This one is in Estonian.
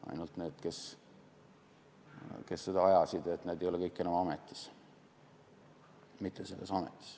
Ainult et need, kes seda asja ajasid, ei ole kõik enam ametis, mitte selles ametis.